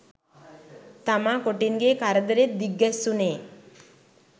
තමා කොටින්ගෙ කරදරෙත් දිග්ගැස්සුනේ